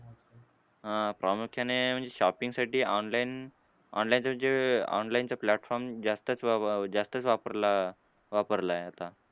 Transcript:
हां प्रामुख्याने म्हणजे shopping साठी online online चं म्हणजे online चा platform जास्तच व जास्तच वापरला वापरलाय आता.